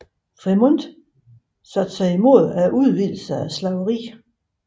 Frémont modsatte sig udvidelsen af slaveriet